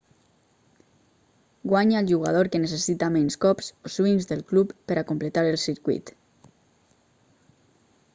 guanya el jugador que necessita menys cops o swings del club per a completar el circuit